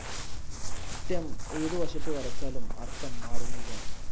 Stem ഏതുവശത്തു വരച്ചാലും അർത്ഥം മാറുന്നില്ല.